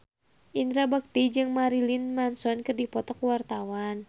Indra Bekti jeung Marilyn Manson keur dipoto ku wartawan